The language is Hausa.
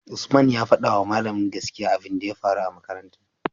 usman ya fadawa mallamin gaskiya abun da ya faru a makarantar